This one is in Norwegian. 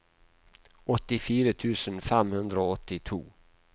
åttifire tusen fem hundre og åttito